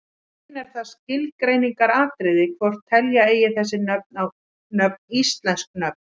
Í raun er það skilgreiningaratriði hvort telja eigi þessi nöfn íslensk nöfn.